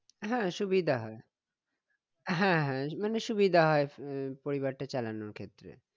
হ্যাঁ সুবিধা হয় হ্যাঁ হ্যাঁ মানে সুবিধা হয় উম পরিবারটা চালানোর জন্য